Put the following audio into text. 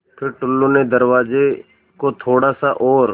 फ़िर टुल्लु ने दरवाज़े को थोड़ा सा और